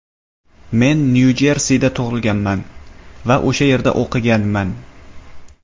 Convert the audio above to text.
Men Nyu-Jersida tug‘ilganman va o‘sha yerda o‘qiganman.